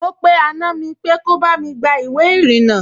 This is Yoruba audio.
Mo pe àna mi pé kí bá mi gba ìwé ìrìnnà